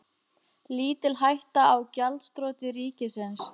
Lítil hætta á gjaldþroti ríkisins